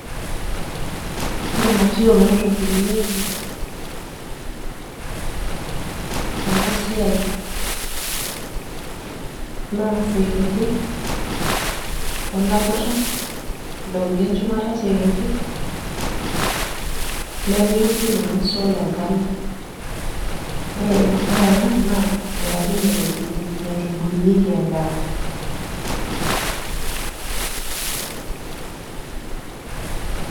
Ore material naitobirunyeki enasiai na isekenge olakutalipiki shumata osekenge, nepiki sininye solar enkalo ore ena naa enkaji naitubulunyeki endaa.